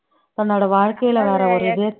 தன்னோட வாழ்க்கையில வர ஒரு இதே